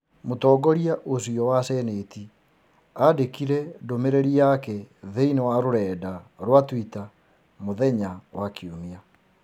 Mũtongoria ũcio wa senate aandĩkire ndũmĩrĩri yake thĩinĩ wa rũrenda rwa Twitter mũthenya wa Kiumia.